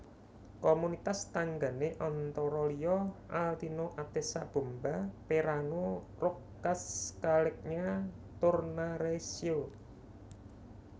Komunitas tanggané antara liya Altino Atessa Bomba Perano Roccascalegna Tornareccio